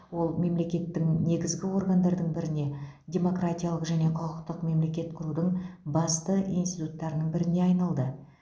ол мемлекеттік негізгі органдардың біріне демократиялы және құқықтық мемлекет құрудың басты институттарының біріне айналды